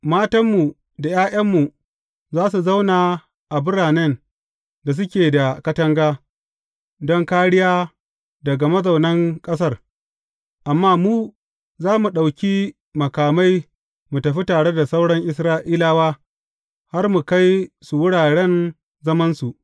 Matanmu da ’ya’yanmu za su zauna a biranen da suke da katanga, don kāriya daga mazaunan ƙasar, amma mu, za mu ɗauki makamai mu tafi tare da sauran Isra’ilawa, har mu kai su wuraren zamansu.